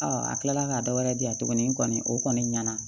a kila la ka dɔ wɛrɛ di yan tuguni n kɔni o kɔni ɲɛna